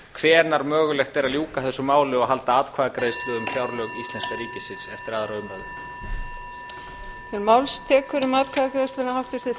hvenær mögulegt er að ljúka þessu máli og halda atkvæðagreiðslu um fjárlög íslenska ríkisins eftir annarri umræðu